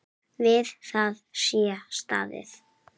Við það sé staðið.